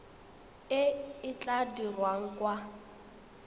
e e tla dirwang kwa